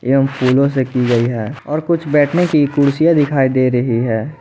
एवं फूलों से की गई है और कुछ बैठने की कुर्सियां दिखाई दे रही है।